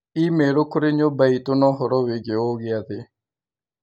i-mīrū kũrĩ nyũmba itũ na ũhoro wĩgiĩ ũ gĩathĩ